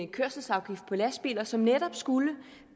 kørselsafgift på lastbiler som netop skulle